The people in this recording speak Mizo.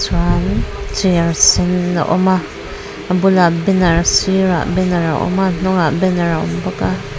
chuan chair sen a awm a a bulah banner a sirah banner a awm a a hnungah banner a awm bawk a.